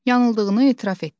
Yanıldığını etiraf etdi.